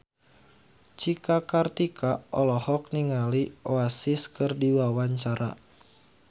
Cika Kartika olohok ningali Oasis keur diwawancara